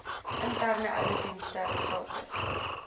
interne ouditdienste gratis